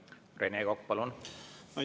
Rene Kokk, palun!